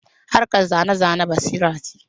Harkar zane-zane basira ce